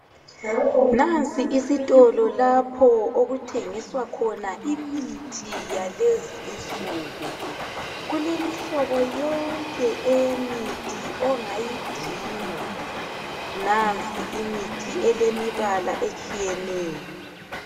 Nasi isitolo lapho okuthengisa khona imithi yalezi insuku kulemihlobo yonke eyemithi ongayidinga, nansi imithi elemibala etshiyeneyo.